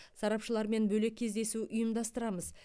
сарапшылармен бөлек кездесу ұйымдастырамыз